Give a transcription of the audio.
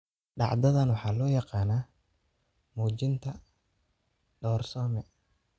Dhacdadan waxaa loo yaqaannaa muujinta doorsoome.